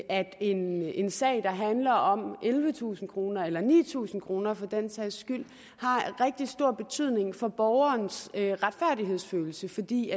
at en en sag der handler om ellevetusind kroner eller ni tusind kroner for den sags skyld har rigtig stor betydning for borgerens retfærdighedsfølelse fordi